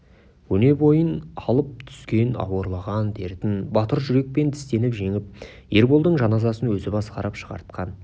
өне бойын алып түскен ауырлаған дертін батыр жүрекпен тістеніп жеңіп ерболдың жаназасын өзі басқарып шығартқан